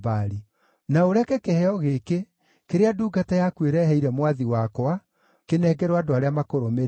Na ũreke kĩheo gĩkĩ, kĩrĩa ndungata yaku ĩreheire mwathi wakwa, kĩnengerwo andũ arĩa makũrũmĩrĩire.